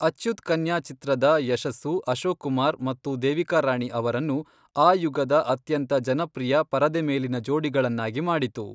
ಅಚ್ಯುತ್ ಕನ್ಯಾ ಚಿತ್ರದ ಯಶಸ್ಸು ಅಶೋಕ್ ಕುಮಾರ್ ಮತ್ತು ದೇವಿಕಾ ರಾಣಿ ಅವರನ್ನು ಆ ಯುಗದ ಅತ್ಯಂತ ಜನಪ್ರಿಯ ಪರದೆ ಮೇಲಿನ ಜೋಡಿಗಳನ್ನಾಗಿ ಮಾಡಿತು.